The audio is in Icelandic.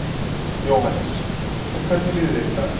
Jóhannes: En hvernig líður þér í dag?